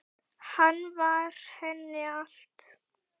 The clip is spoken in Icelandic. Hann var henni allt.